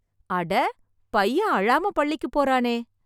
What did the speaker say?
அட பையன் அழாம பள்ளிக்கு போறானே.